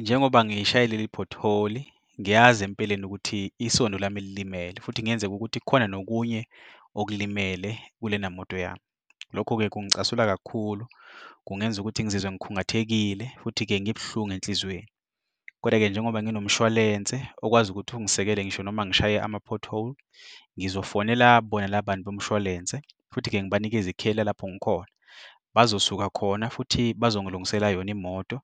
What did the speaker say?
Njengoba ngishaye leli pothole, ngiyazi empeleni ukuthi isondo lami lilimele futhi kungenzeka ukuthi khona nokunye okulimele kulena moto yami. Lokho-ke kungicasula kakhulu, kungenza ukuthi ngizizwe ngikhungathekile futhi-ke ngibuhlungu enhlizweni. Koda-ke njengoba nginomshwalense okwazi ukuthi ungisekele ngisho noma ngishaye ama-pothole ngizofonela bona labantu bomshwalense, futhi-ke ngibanikeze ikheli lalapho ngikhona. Bazosuka khona futhi bazongilungisela yona imoto